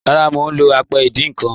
Rárá, mọ̀ lọ́ àpẹ̀ ìdíń nkan.